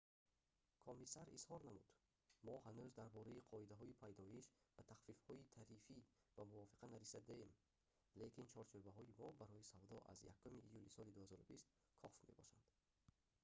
комиссар изҳор намуд: «мо ҳанӯз дар бораи қоидаҳои пайдоиш ва тахфифҳои тарифӣ ба мувофиқа нарасидаем лекин чорчӯбаҳои мо барои савдо аз 1 июли соли 2020 кофь мебошад